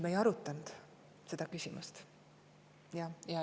Me ei arutanud seda küsimust.